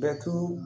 Bɛtu